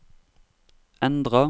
endra